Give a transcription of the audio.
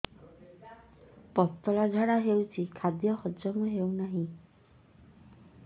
ପତଳା ଝାଡା ହେଉଛି ଖାଦ୍ୟ ହଜମ ହେଉନାହିଁ